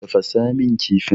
Tafasa min kifin.